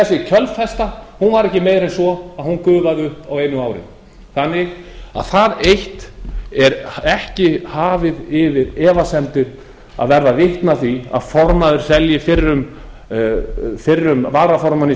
upp þessi kjölfesta var ekki meiri en svo að hún gufaði upp á einu ári þannig að það eitt er ekki hafið yfir efasemdir að verða vitni að því að formaður selji fyrrum varaformanni